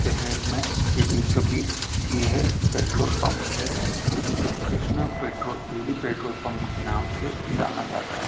शहर में के बीचो बीच यह है पेट्रोल पंप है जो Krishna petrol Dudi petrol pump के नाम से जाना जाता है।